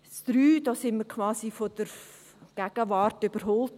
Beim Punkt 3 wurden wir quasi von der Gegenwart überholt.